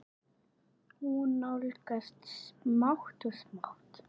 Hún nálgast smátt og smátt.